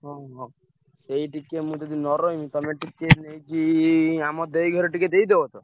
ଓହୋ! ସେଇ ଟିକେ ମୁଁ ଯଦି ନ ରହିବି ତମେ ଟିକେ ନେଇକି ଆମ ଦେଇ ଘରେ ଟିକେ ଦେଇଦବ ତ?